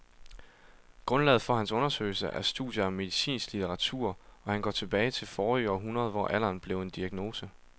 Grundlaget for hans undersøgelse er studier af medicinsk litteratur og han går tilbage til forrige århundrede, hvor alderen blev en diagnose.